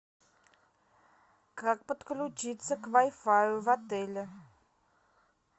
как подключиться к вай фаю в отеле